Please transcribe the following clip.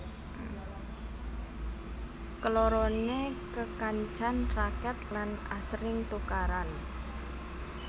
Kelorone kekancan raket lan asring tukaran